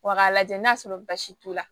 Wa k'a lajɛ n'a sɔrɔ basi t'u la